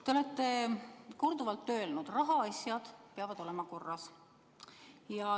Te olete korduvalt öelnud, et rahaasjad peavad olema korras.